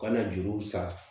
U kana juruw san